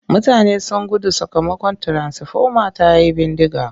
Mutane sun gudu sakamakon tiransifoma ta yi bindiga.